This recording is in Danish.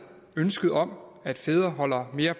ønsket om at fædre holder mere